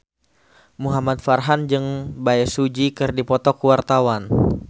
Muhamad Farhan jeung Bae Su Ji keur dipoto ku wartawan